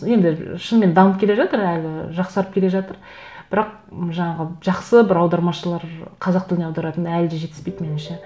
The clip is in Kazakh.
енді шынымен дамып келе жатыр әлі жақсарып келе жатыр бірақ м жаңағы жақсы бір аудармашылар қазақ тіліне аударатын әлі де жетіспейді меніңше